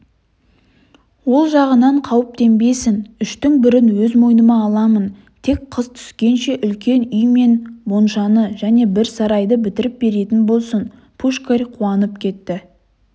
ол жағынан қауіптенбесін үштің бірін өз мойныма аламын тек қыс түскенше үлкен үй мен моншаны және бір сарайды бітіріп беретін болсын пушкарь қуанып кетті